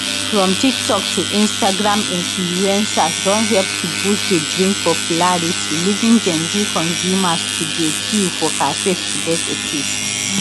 from tiktok to instagram influencers don help to boost di drink popularity leaving gen z consumers to dey queue for cafes to get a taste